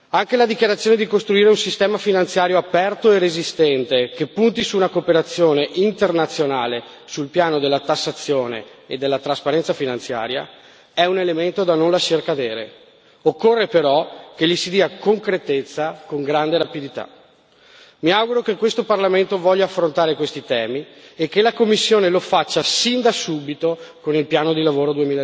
Anche la dichiarazione di costruire un sistema finanziario aperto e resistente che punti su una cooperazione internazionale sul piano della tassazione e della trasparenza finanziaria è un elemento da non lasciar cadere, occorre però che gli si dia concretezza con grande rapidità. Mi auguro che questo Parlamento voglia affrontare questi temi e che la Commissione lo faccia sin da subito con il piano di lavoro